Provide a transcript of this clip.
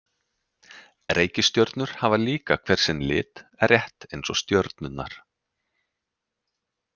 Reikistjörnur hafa líka hver sinn lit, rétt eins og stjörnurnar.